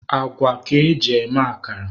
Agwa ka eji eme akara.